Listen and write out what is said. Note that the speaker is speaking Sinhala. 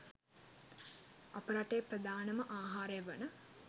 අප රටේ ප්‍රධානම ආහාරය වන